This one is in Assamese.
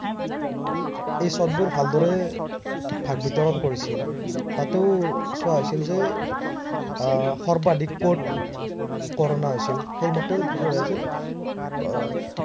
এই ছটবোৰ ভাল দৰে ভাগ বিতৰন কৰিছিল। তাতো চোৱা হৈছিল যে আহ সৰ্বাধিক কত corona হৈছিল সেইমতেও কি কৰা হৈছিল আহ